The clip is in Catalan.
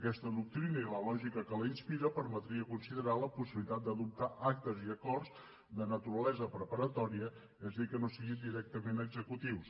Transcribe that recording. aquesta doctrina i la lògica que la inspira permetria considerar la possibilitat d’adoptar actes i acords de naturalesa preparatòria és a dir que no siguin directament executius